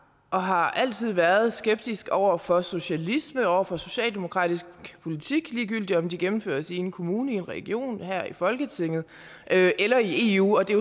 og har altid været skeptiske over for socialisme over for socialdemokratisk politik ligegyldig om den gennemføres i en kommune i en region her i folketinget eller i eu og det